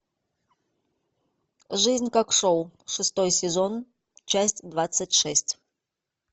жизнь как шоу шестой сезон часть двадцать шесть